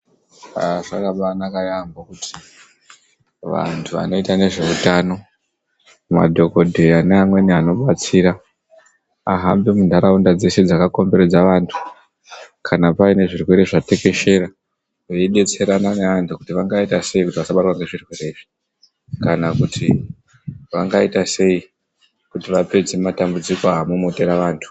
Aa zvakabanaka yaambo kuti vantu vanoita nezveutano madhogodheya neamweni anobatsira. Ahambe muntaraunda dzshe dzakakomberedza vantu kana paine zvirwere zvatekeshera veibetserana nevantu kuti vangauita sei kuti vasabatwa ngezvirwere izvi. Kana kuti vangaita sei kuti vapedze matambudziko amomotera vantu.